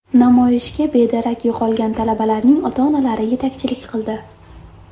Namoyishga bedarak yo‘qolgan talabalarning ota-onalari yetakchilik qildi.